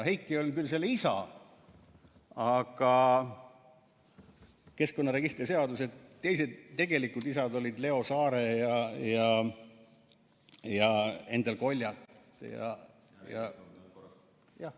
Heiki on küll selle isa, aga keskkonnaregistri seaduse teised, tegelikud isad olid Leo Saare ja Endel Koljat ja...